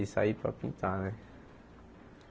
E sair para pintar, né?